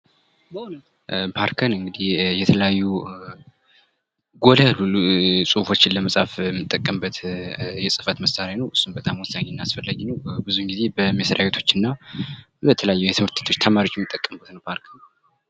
ፓልከር እንግዲህ የተለያዩ ጎላ ያሉ ሁፎችን ለመጻፍ ለመፃፍ የምንጠቀምበት የህፈት መሳሪያ ነው በጣም አስፈላጊ ነው ብዙን ጊዜ በመስሪያ ቤቶች እና በተለያዩ ትምህርት ቤቶች ተማሪዎች የሚጠቀሙበት ነው ፓልከር።